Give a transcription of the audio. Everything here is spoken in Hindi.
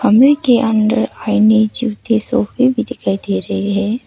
कमरे के अंदर आईने जूते सोफे भी दिखाई दे रहे है।